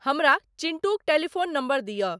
हमरा चिंटूक telephone number दिअ।